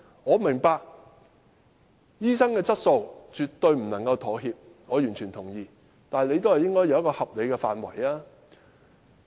我明白醫生質素絕對不能妥協，這點我完全同意，但也應有一個合理的範圍。